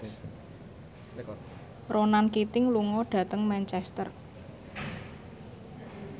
Ronan Keating lunga dhateng Manchester